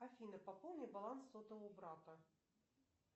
афина пополни баланс сотового брата